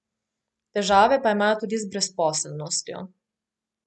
Težave pa imajo tudi z brezposelnostjo.